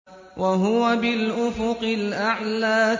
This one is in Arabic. وَهُوَ بِالْأُفُقِ الْأَعْلَىٰ